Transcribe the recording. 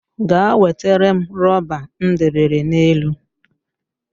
Ga wetere m rọba m dobere n'elu